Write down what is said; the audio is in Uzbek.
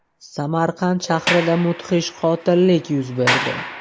Samarqand shahrida mudhish qotillik yuz berdi.